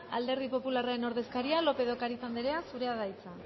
alderdi popularren ordezkaria lópez de ocariz andrea zurea da hitza